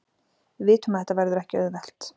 Við vitum að þetta verður ekki auðvelt.